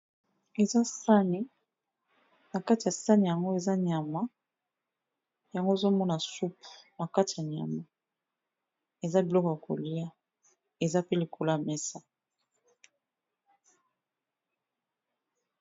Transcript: Eza sani, na kati ya sani yango eza nyama. Yango ozo mona soupu na kati ya nyama, eza biloko ya kolia eza pe likolo ya mesa.